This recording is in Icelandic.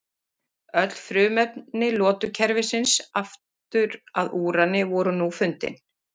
öll frumefni lotukerfisins aftur að úrani voru nú fundin